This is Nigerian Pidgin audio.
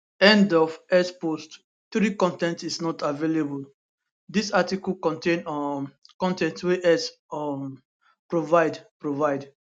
end of x post 3 con ten t is not available dis article contain um con ten t wey x um provide provide